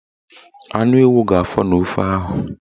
Anu ewu ga-afọ n'ofe ahụ